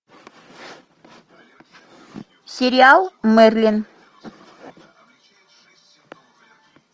сериал мерлин